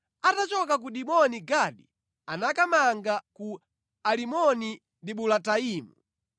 Atachoka ku Diboni Gadi anakamanga ku Alimoni-Dibulataimu.